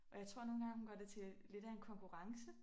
Og jeg tror nogen gange hun gør det til lidt af en konkurrence